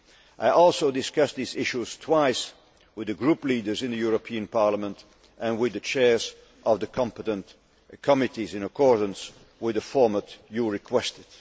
I also discussed these issues twice with the group leaders in the European Parliament and with the chairs of the competent committees, in accordance with the format you requested.